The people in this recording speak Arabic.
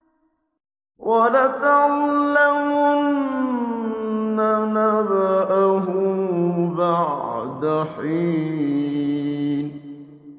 وَلَتَعْلَمُنَّ نَبَأَهُ بَعْدَ حِينٍ